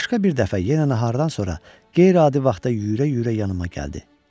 Başqa bir dəfə yenə nahardan sonra qeyri-adi vaxtda yüyürə-yüyürə yanıma gəldi.